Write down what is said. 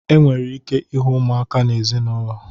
E nwere ike ịhụ ụmụaka na ezinaụlọ.